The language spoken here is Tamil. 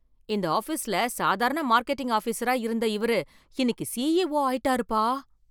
இந்த ஆபீஸ்ல சாதாரண மார்க்கெட்டிங் ஆபிஸரா இருந்த இவர் இன்னைக்கு சிஇஓ ஆயிட்டாருப்பா!